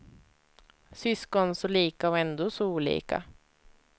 Syskon, så lika och ändå så olika.